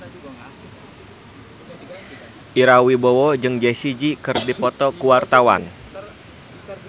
Ira Wibowo jeung Jessie J keur dipoto ku wartawan